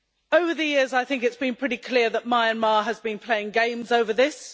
Over the years, I think it has been pretty clear that Myanmar has been playing games over this.